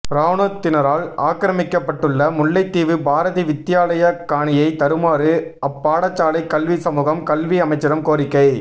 இராணுவத்தினரால் ஆக்கிரமிக்கப்பட்டுள்ள முல்லைத்தீவு பாரதி வித்தியாலய காணியை தருமாறு அப்பாடசாலை கல்வி சமூகம் கல்வி அமைச்சிடம் கோரிக்கை